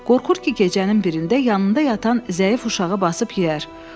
qorxur ki, gecənin birində yanında yatan zəif uşağı basıb yeyər.